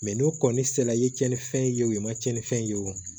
n'u kɔni sera i ye tiɲɛnifɛn ye o ye i ma cɛnnifɛn ye wo